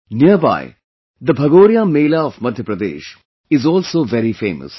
Nearby, the Bhagoria Mela of Madhya Pradesh is also very famous